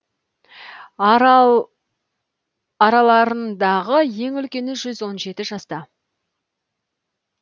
араларындағы ең үлкені жүз он жеті жаста